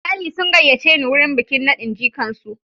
Iyali sun gayyace ni wurin bikin nadin jikan su.